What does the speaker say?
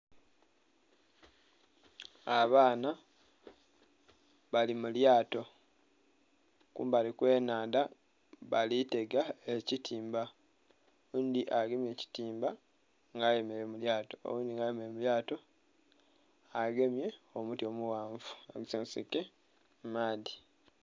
Abaana bali mulyato kumbali kwe nhandha bali tega ekitimba. Oghundhi agemye ekitimba nga ayemereire mu lyato, oghundhi nga ayemereire mu lyto agemye omuti omughanvu agusonsaike mu maadhi.